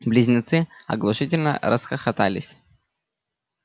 близнецы оглушительно расхохотались